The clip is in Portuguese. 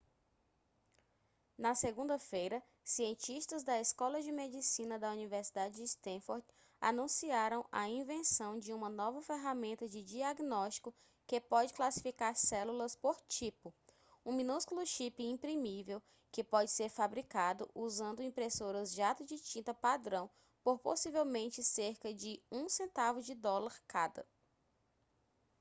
na segunda-feira cientistas da escola de medicina da universidade de stanford anunciaram a invenção de uma nova ferramenta de diagnóstico que pode classificar células por tipo um minúsculo chip imprimível que pode ser fabricado usando impressoras jato de tinta padrão por possivelmente cerca de um centavo de dólar cada